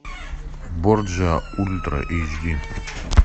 борджиа ультра эйч ди